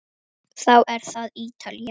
Þá er það Ítalía.